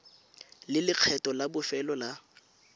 le lekgetho la bofelo la